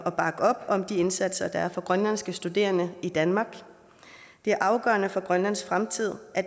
om de indsatser der er for grønlandske studerende i danmark det er afgørende for grønlands fremtid at